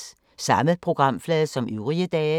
Samme programflade som øvrige dage